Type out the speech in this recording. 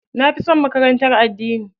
Na fi son makarantar addini.